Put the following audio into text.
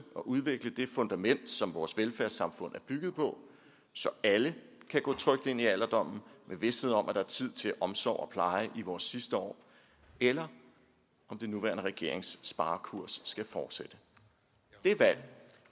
og udvikle det fundament som vores velfærdssamfund er bygget på så alle kan gå trygt ind i alderdommen med vished om at der er tid til omsorg og pleje i vores sidste år eller om den nuværende regerings sparekurs skal fortsætte